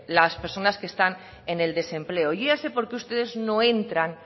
las personas que están en el desempleo y yo ya sé por qué ustedes no entran